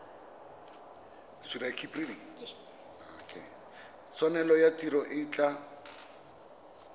tshwanelo ya tiro e tla